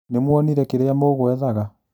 Nĩmuonire kĩrĩa mũgwethaga